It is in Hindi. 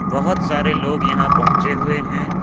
बहुत सारे लोग यहां पहुचे हुए हैं।